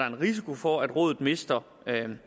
en risiko for at rådet mister